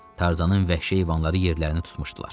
Tarzanın vəhşi heyvanları yerlərini tutmuşdular.